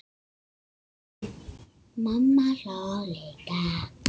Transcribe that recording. Mamma hló líka.